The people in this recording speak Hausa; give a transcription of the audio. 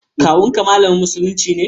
Kawun ka malamin musulunci ne?